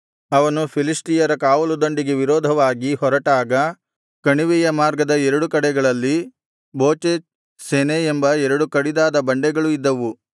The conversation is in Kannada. ಅವನು ಫಿಲಿಷ್ಟಿಯರ ಕಾವಲುದಂಡಿಗೆ ವಿರೋಧವಾಗಿ ಹೊರಟಾಗ ಕಣಿವೆಯ ಮಾರ್ಗದ ಎರಡು ಕಡೆಗಳಲ್ಲಿ ಬೋಚೇಚ್ ಸೆನೆ ಎಂಬ ಎರಡು ಕಡಿದಾದ ಬಂಡೆಗಳು ಇದ್ದವು